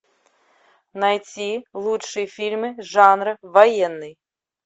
найти лучшие фильмы жанра военный